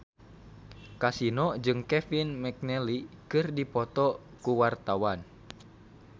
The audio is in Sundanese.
Kasino jeung Kevin McNally keur dipoto ku wartawan